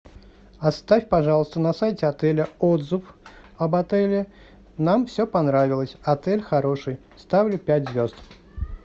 оставь пожалуйста на сайте отеля отзыв об отеле нам все понравилось отель хороший ставлю пять звезд